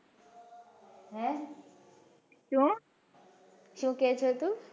હે સુ સુ કે છે તું?